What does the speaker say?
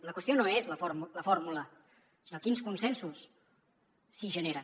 la qüestió no és la fórmula sinó quins consensos s’hi generen